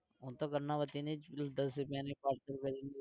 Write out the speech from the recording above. હું તો કર્ણાવતીની જ પીવું દસ રૂપિયાની parcel કરીને.